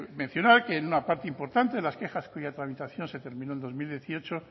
mencionar que en una parte importante de las quejas cuya tramitación se terminó en dos mil dieciocho